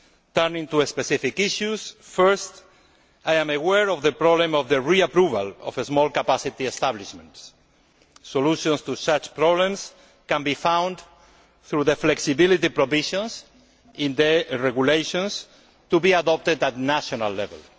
Turning to specific issues, firstly, I am aware of the problem of the reapproval of small capacity establishments. Solutions to such problems can be found through the flexibility provisions in the regulations to be adopted at national level.